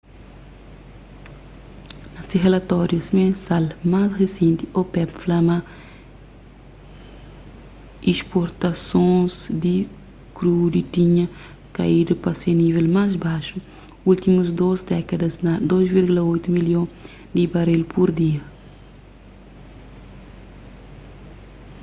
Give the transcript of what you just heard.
na se relatóriu mensal más risenti opep fla ma isportasons di krudi tinha kaidu pa se nível más baxu últimus dôs dékadas na 2,8 milhon di baril pur dia